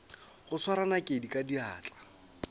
go swara nakedi ka diatla